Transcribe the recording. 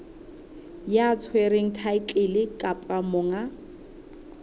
ya tshwereng thaetlele kapa monga